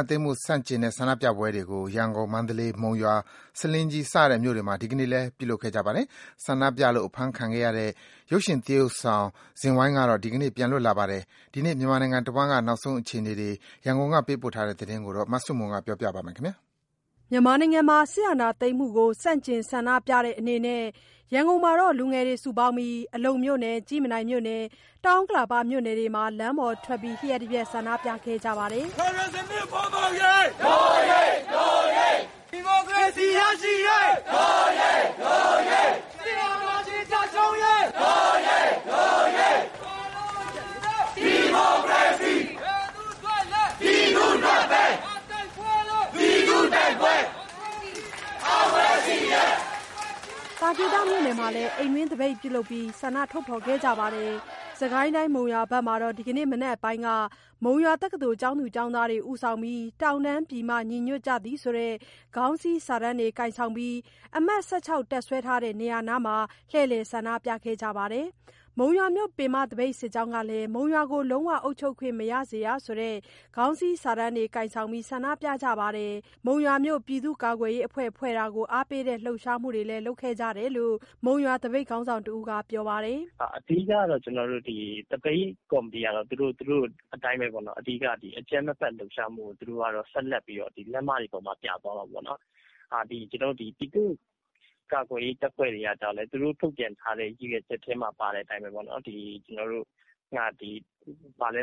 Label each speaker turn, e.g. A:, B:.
A: ာသိမ်းမှု ဆန့်ကျင်တဲ့ဆန္ဒပြပွဲတွေကို ရန်ကုန်၊ မန္တလေး၊ မုံရွာ၊ ဆားလင်းကြီး စတဲ့ မြို့တွေမှာ ဒီနေ့လည်း လုပ်ခဲ့ကြပါတယ်။ ဆန္ဒပြလို့ အဖမ်းခံခဲ့ရတဲ့ ရုပ်ရှင်သရုပ်ဆောင် ဇင်ဝိုင်းကတော့ ဒီနေ့ပြန်လွတ်လာပါတယ်။ ဒီနေ့မြန်မာနိုင်ငံတဝန်းက နောက်ဆုံးအခြေအနေတွေ ရန်ကုန်ကသတင်းပေးပို့ထားတာကို မဆုမွန် ကပြောပြပါမယ်။ ရန်က
B: ုန်မြို့က စစ်အာဏာသိမ်းမှုကို ဆန့်ကျင် ဆန္ဒပြနေကြတဲ့ လူငယ်တွေက အလုံမြို့နယ်၊ ကြည့်မြင်တိုင်မြို့နယ်၊ တောင်ဥက္ကလာပမြို့နယ်တို့မှာ လမ်းပေါ်ထွက် လ ျှပ်တပြက် ဆန္ဒပြမှုတွေ လုပ်ခဲ့ကြပါတယ်။ သ
A: ာ
B: ကေတမြိုနယ်မှာလည်း အိမ်တွင်းသပိတ်တစ်ချို့ လုပ်ပြီး ဆန္ဒထုတ်ဖော်ခဲ့ကြပါတယ်။ စစ်ကိုင်းတိုင်း မုံရွာမှာ ဒီကနေ့မနက်ပိုင်းက မုံရွာတက္ကသိုလ်ကျောင်းသားကျောင်းသူတွေ ဦးဆောင်ပြီး တောင်တန်းပြည်မ ညီညွတ်ကြသည် ဆိုတဲ့ ခေါင်းစီးစာတန်းကိုင်ဆောင်ပြီး အမှတ် ၁၆ တပ်စွဲထားတဲ့ နေရာနားမှာ လှည့်လည်ဆန္ဒပြခဲ့ကြပါတယ်။ မုံရွာမြို့ ပင်မသပိတ်စစ်ကြောင်းကလည်း မုံရွာကိုလုံးဝ အုပ်ချုပ်ခွင့်မရစေရဆိုတဲ့ ခေါင်းစည်းစာတန်းကိုင်ဆောင်ပြီး ဆန္ဒပြကြပါတယ်။ မုံရွာမြို့ ပြည်သူ့ကာကွယ်ရေးအဖွဲ့ ဖွဲ့တာကို အားပေးတဲ့ လှုပ်ရှားမှုတွေလည်း လုပ်ခဲ့ကြတယ်လို့ မုံရွာသပိတ်ခေါင်းဆောင်တစ်ဦးက ပြောပါတယ်။
C: “အဓိကကတော့ သပိတ်ကော်မတီကတော့ သူတို့အတိုင်းပဲ အကြမ်းမဖက် လှုပ်ရှားမှုကို ဆက်လက်ပြီးတော့ လမ်းမတွေပေါမှာ ပြသွားမှာပေါ့နှော်။ ဒီပြည်သူ့ကာကွယ်ရေးတပ်ဖွဲ့တွေက ကျတော့လည်း သူတို့ထုတ်ပြန်ထားတဲ့ ရည်ရွယ်ချက်ထဲမှာ ပါတဲ့ အတိုင်းပဲပေါ့နှော် ဒီကျင့်ဝတ်တွေကို လိုက်နာပြီး